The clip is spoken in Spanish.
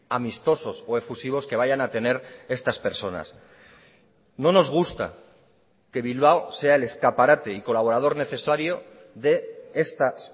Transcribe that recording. amistosos o efusivos que vayan a tener estas personas no nos gusta que bilbao sea el escaparate y colaborador necesario de estas